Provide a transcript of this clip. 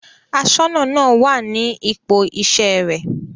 Aṣọ́nà náà wà ní ipò iṣẹ́ rẹ̀.